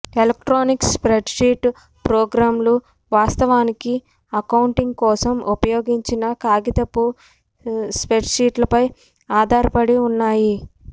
electronic spreadsheet ప్రోగ్రామ్లు వాస్తవానికి accounting కోసం ఉపయోగించిన కాగితపు స్ప్రెడ్షీట్లపై ఆధారపడి ఉన్నాయి